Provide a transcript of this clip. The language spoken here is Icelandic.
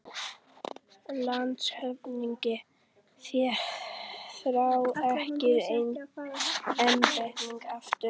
LANDSHÖFÐINGI: Þér fáið ekki embættið aftur